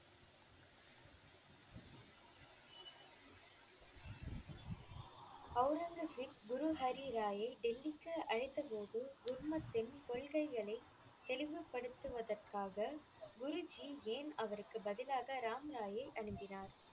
ஒளரங்கசீப் குரு ஹரிராயை டெல்லிக்கு அழைத்தபோது, குருமத்தின் கொள்கைகளை தெளிவுபடுத்துவதற்காக குருஜி ஏன் அவருக்கு பதிலாக ராம்ராயை அனுப்பினார்?